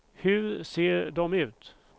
Hur ser de ut?